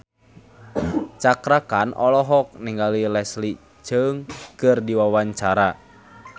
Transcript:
Cakra Khan olohok ningali Leslie Cheung keur diwawancara